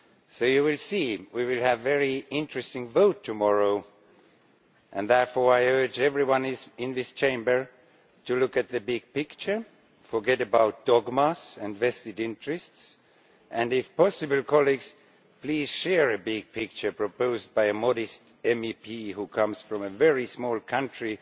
So you can see that we will have a very interesting vote tomorrow, and therefore I urge everyone in this Chamber to look at the big picture, forget about dogmas and vested interests, and if possible, colleagues, please share the big picture proposed by a modest MEP who comes from a very small country